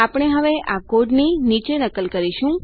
આપણે હવે આ કોડની નીચે નકલ કરીશું